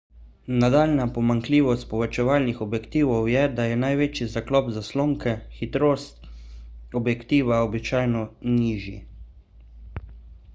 nadaljnja pomanjkljivost povečevalnih objektivov je da je največji zaklop zaslonke hitrost objektiva običajno nižji